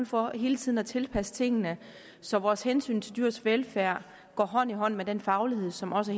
for hele tiden at tilpasse tingene så vores hensyn til dyrenes velfærd går hånd i hånd med den faglighed som også